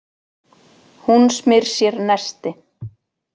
Hún smyr sér nesti.